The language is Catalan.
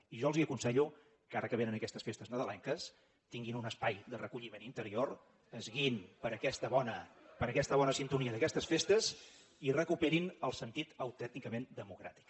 i jo els aconsello que ara que vénen aquestes festes nadalenques tinguin un espai de recolliment interior es guiïn per aquesta bona sintonia d’aquestes festes i recuperin el sentit autènticament democràtic